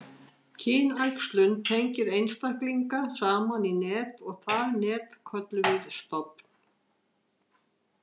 Kynæxlun tengir einstaklinga saman í net og það net köllum við stofn.